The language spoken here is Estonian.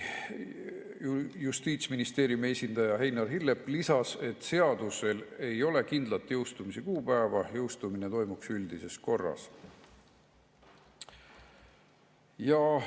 Justiitsministeeriumi esindaja Einar Hillep lisas, et seadusel ei ole kindlat jõustumise kuupäeva, jõustumine toimuks üldises korras.